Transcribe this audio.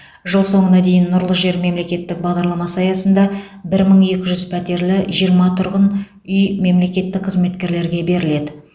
жыл соңына дейін нұрлы жер мемлекеттік бағдарламасы аясында бір мың екі жүз пәтерлі жиырма тұрғын үй мемлекеттік қызметкерлерге беріледі